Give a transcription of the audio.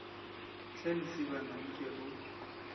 hle lesibana nke o se